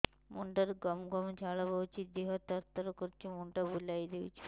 ମୁଣ୍ଡରୁ ଗମ ଗମ ଝାଳ ବହୁଛି ଦିହ ତର ତର କରୁଛି ମୁଣ୍ଡ ବୁଲାଇ ଦେଉଛି